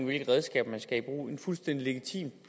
hvilke redskaber man skal bruge en fuldstændig legitim